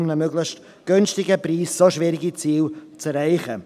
Man kann nicht zu einem möglichst günstigen Preis so schwierige Ziele erreichen.